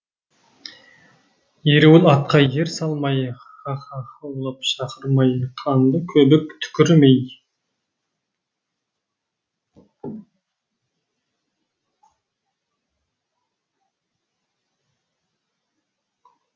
ереуіл атқа ер салмай һаһаһаулап шақырмай қанды көбік түкірмей